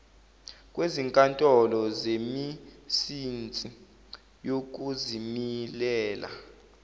kwezinkantolo zemisinsi yokuzimilela